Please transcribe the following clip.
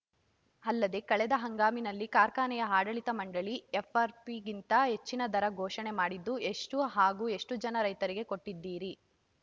ಅಲ್ಲದೇ ಕಳೆದ ಹಂಗಾಮಿನಲ್ಲಿ ಕಾರ್ಖಾನೆಯ ಆಡಳಿತ ಮಂಡಳಿ ಎಫ್‌ಆರ್‌ಪಿಗಿಂತ ಹೆಚ್ಚಿಗೆ ದರ ಘೋಷಣೆ ಮಾಡಿದ್ದು ಎಷ್ಟುಹಾಗೂ ಎಷ್ಟುಜನ ರೈತರಿಗೆ ಕೊಟ್ಟಿದ್ದೀರಿ